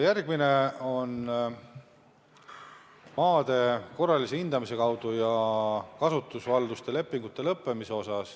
Jutt on maade korralisest hindamisest ja kasutusvalduste lepingute lõppemisest.